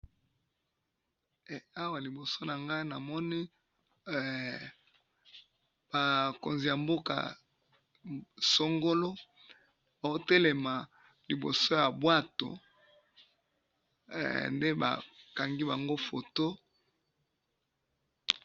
he awa liboso na ngayi awa namoni ba konzi ya mboka songolo baho telema liboso ya bwato nde bakangi bango foto.